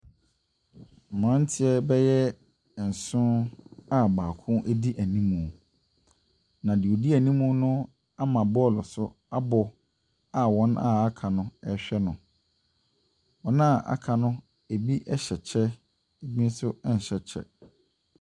Mmranteɛ bɛyɛ nson a baako edi enimmu. Na deɛ ɔdi ɛnimmu no ama bɔɔl so abɔ a wɔn a aka no ɛrehwɛ no. wɔn a aka no ebi ɛhyɛ kyɛ, ebi nso ɛnhyɛ kyɛ.